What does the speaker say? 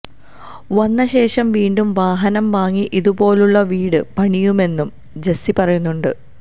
വന്നശേഷം വീണ്ടും വാഹനം വാങ്ങി ഇതുപോലുള്ള വീട് പണിയുമെന്നും ജെസ്സി പറയുന്നുണ്ട്